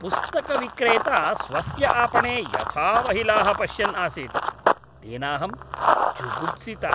पुस्तकविक्रेता स्वस्य आपणे यथा महिलाः पश्यन् आसीत् तेनाहं जुगुप्सिता।